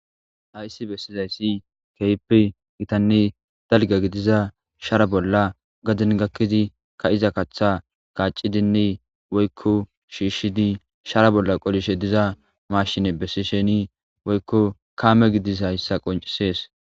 Aysi bessizayssi keip gitanni dalga gidiza shara bolla gadin gakkizi ka iza kaththa kaaci dinni woykko shiishshidi shara bolla qolishe diza mashine bessi sheni woykko kaame gidis hayssa qoncisees.